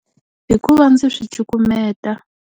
Hikuva ndzi swi cukumeta.